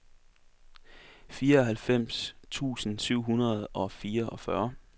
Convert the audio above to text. fireoghalvfems tusind syv hundrede og fireogfyrre